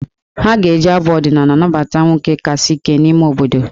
Ha ga-eji abụ ọdịnaala nabata nwoke kasị ike n'ime obodo.